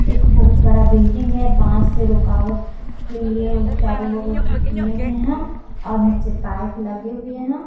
एक बहुत बड़ा बिल्डिंग है बास से रोकावट के लिए चारो बगल से किए हुए हैं और नीचे पाइप लगे हुए हैं।